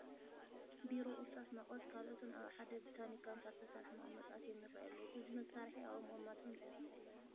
ቢሮ፣ እርሳስ፣ መቐስን ካልኦትን ኣብ ሓደ ብታኒካ ኣምሳል ዝተሰርሐ መቐመጢ ኣትዮም ይርአዩ ኣለዉ፡፡ እዞም መሳርሒ ኣብኡ ምቕማጦም እንታይ ረብሓ ኣለዎ?